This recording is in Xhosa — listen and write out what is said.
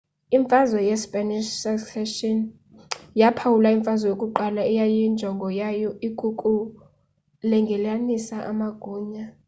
imfazwe ye spanish succession yaphawula imfazwe yokuqala eyayinjongo zayo ikukulungelelanisa amagunya